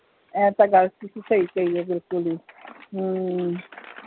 ਇਹ ਤਾ ਗੱਲ ਤੁਸੀਂ ਸਹੀ ਕਹੀ ਏ ਬਿਲਕੁਲ ਈ ਹਮ